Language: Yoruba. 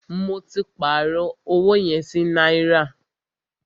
Mó tí pàárọ̀ ọwọ yẹn sí náírà.